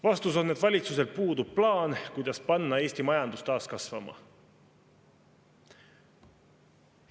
Vastus on, et valitsusel puudub plaan, kuidas panna Eesti majandus taas kasvama.